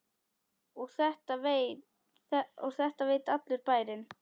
Og þetta veit allur bærinn?